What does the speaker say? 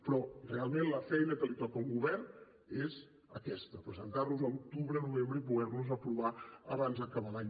però realment la feina que li toca a un govern és aquesta presentar los a l’octubre novembre i poder aprovar los abans d’acabar l’any